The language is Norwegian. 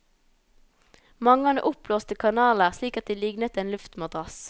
Mange hadde oppblåste kanaler, slik at de lignet en luftmadrass.